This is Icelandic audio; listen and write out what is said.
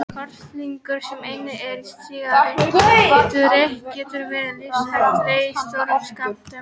Kolsýrlingur sem einnig er í sígarettureyk getur verið lífshættulegur í stórum skömmtum.